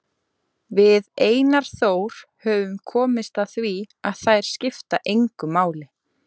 Það var ótrúlegt hvað þau voru fljót að hreinsa og græða.